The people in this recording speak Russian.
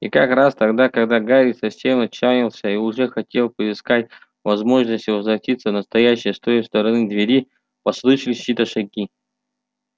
и как раз тогда когда гарри совсем отчаялся и уже хотел поискать возможности возвратиться в настоящее с той стороны двери послышались чьи-то шаги